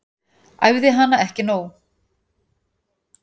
Æfði hana ekki nóg.